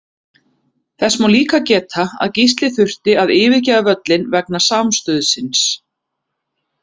Þess má líka geta að Gísli þurfti að yfirgefa völlinn vegna samstuðsins.